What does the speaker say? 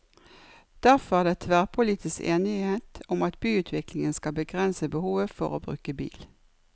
Derfor er det tverrpolitisk enighet om at byutviklingen skal begrense behovet for å bruke bil.